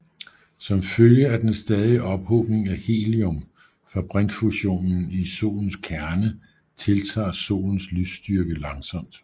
Som følge af den stadige ophobning af helium fra brintfusionen i Solens kerne tiltager Solens lysstyrke langsomt